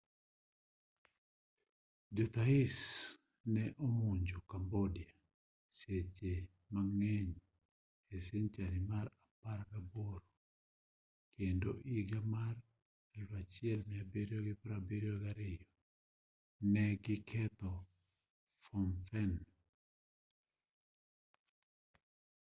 jo thais ne omonjo cambodia seche mang'eny e senchari mar apagaboro kendo iga mar 1772 ne gi ketho phnom phen